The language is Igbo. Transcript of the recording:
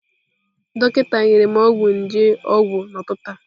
Dọkịta nyere m ọgwụ nje ọgwụ n'ụtụtụ a.